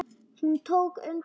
Hún tók undir þetta.